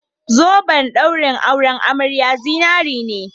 Zoben ɗaurin auren amariya zinare ne